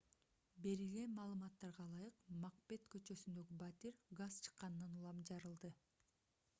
берилген маалыматтарга ылайык макбет көчөсүндөгү батир газ чыкканынан улам жарылды